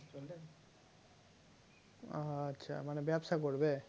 আহ আচ্ছা মানে ব্যবসা করবে?